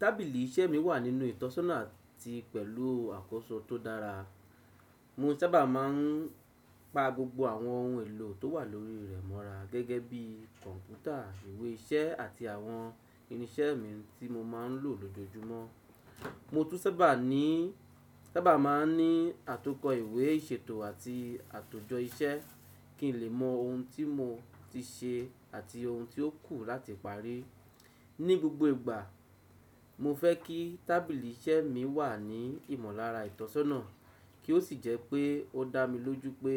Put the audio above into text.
Tábìlì iṣẹ́ mi wà nínú ìtọ́sọ́nà àti pẹ̀lú àkọ́so tó dára. Mo sábà máa ń pa gbogbo àwọn ohun èlò tó wà lórí rẹ̀ mọ́ra, gẹ́gẹ́ bí kọ̀ǹpútà, ìwé iṣẹ́ àti àwọn irinṣẹ́ mi tí mo máa ń lò lójoojúmọ́. Mo tún sábà máa ń ní àtọkọ ìwé ìṣètò àti àtòjọ iṣẹ́ kí n lè mọ ohun tí mo ti ṣe àti ohun tí ó kù láti parí. Ni gbogbo ìgbà, mo fẹ́ kí tábìlì iṣẹ́ mi wà ní ìmọ̀lára ìtọ́sọ́nà kí ó sì jẹ́ pé ó dá mi lójú pé